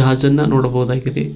ಗಾಜನ್ನ ನೋಡಬಹುದಾಗಿದೆ.